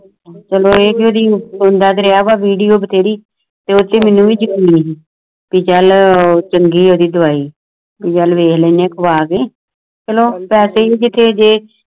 ਚਲ ਓਏ ਟਿਡਿਆ ਦਰਿਆ ਵਗ ਵਿਡੋ ਬਾਤੈਰੀ ਮੈਨੂੰ ਵੀ ਜ਼ਰੂਰੀ ਡਿਜਾਇਨਰ ਚੰਗੀਆ ਦੀ ਦਵਾਈ ਵੇਖ ਲੈਂਦੇ ਆ ਖਾਵੈ ਕ